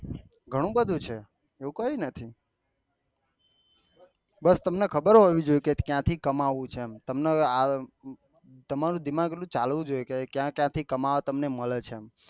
ઘણું બધું છે એવી કાયક નથી બસ તમને ખબર હોવું જોયીયે કે ક્યાં થી કમાવો છે એમ તમને તમારું દિમાગ એટલું ચાલવું જોયીયે કે ક્યાં ક્યાં થી તમને કમાવા મળે છે એમ